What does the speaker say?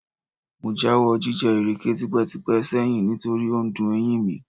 Mo jáwọ́ jíjẹ ìrèké tipẹ́tipẹ́ sẹ́yìn nítorí ó dun eyín mi